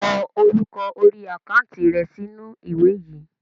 Ko orúkọ orí àkántì rẹ sì inú ìwé yìí!